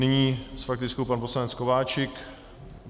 Nyní s faktickou pan poslanec Kováčik.